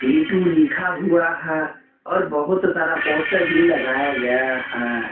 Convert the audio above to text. भी टू लिखा हुआ है और बहुत सारा पोस्टर भी लगाया गया है।